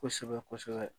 Kosɛbɛ kosɛbɛ